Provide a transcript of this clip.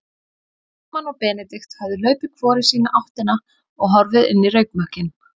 Frímann og Benedikt höfðu hlaupið hvor í sína áttina og horfið inn í reykmökkinn.